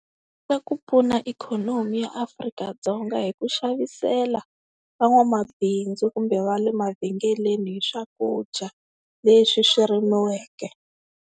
Swa ku pfuna ikhonomi ya Afrika-Dzonga hi ku xavisela van'wamabindzu kumbe va le mavhengeleni hi swakudya leswi swi rimiweke.